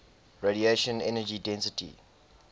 radiation energy density